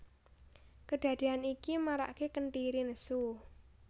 Kedadean iki marake Kentiri nesu